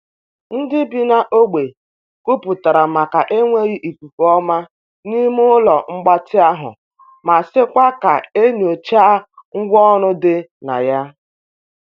Ndị bi n’ogbe kwuputere maka enweghị ikuku ọma n'ime ụlọ mgbatị ahụ ma sịkwa ka e nyochaa ngwa ọrụ di na ya.